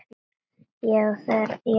Jú, þegar ég æfi.